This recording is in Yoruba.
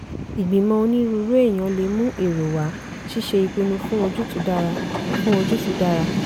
ìgbìmọ̀ onírúurú èèyàn lè mú èrò wá ṣíṣe ìpinnu fún ojútùú dára. fún ojútùú dára.